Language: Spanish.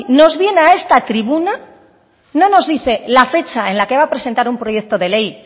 nos viene a esta tribuna no nos dice la fecha en la que va a presentar un proyecto de ley